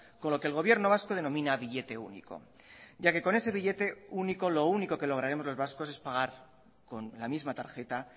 con lo que el gobierno vasco denomina billete único ya que con ese billete único lo único que lograremos los vascos es pagar con la misma tarjeta